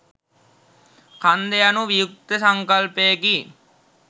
කන්ද යනු වියුක්ත සංකල්පයකි